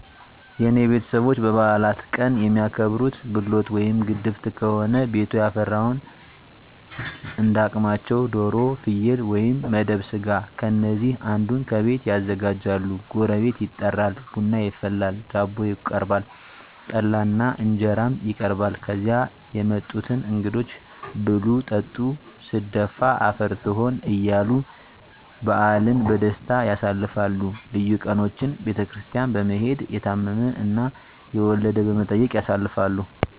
የኔ ቤተሰቦች በበዓላት ቀን የሚያከብሩት፦ ብሎት ወይም ግድፍት ከሆነ ቤቱ ያፈራውን እንዳ አቅማቸው ዶሮ፣ ፍየል ወይም መደብ ስጋ ከነዚህ አንዱን ከቤት ያዘጋጃሉ ጎረቤት ይጠራል፣ ቡና ይፈላል፣ ዳቦ ይቀርባል፣ ጠላ እና እንጀራም ይቀርባል ከዚያ የመጡትን እንግዶች ብሉ ጠጡ ስደፋ አፈር ስሆን እያሉ በዓልን በደስታ ያሳልፋሉ። ልዩ ቀኖችን ቤተክርስቲያን በመሔድ፣ የታመመ እና የወለደ በመጠየቅ ያሳልፋሉ።